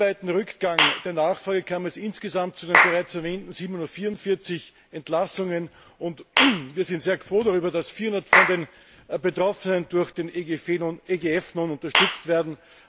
Durch den weltweiten Rückgang der Nachfrage kam es insgesamt zu den bereits erwähnten 744 Entlassungen, und wir sind sehr froh darüber, dass 400 von den Betroffenen durch den EGF unterstützt werden.